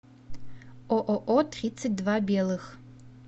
ооо тридцать два белых